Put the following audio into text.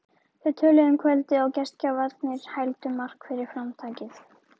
Þau töluðu um kvöldið og gestgjafarnir hældu Mark fyrir framtakið.